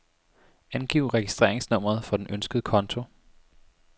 Angiv registreringsnummeret for den ønskede konto.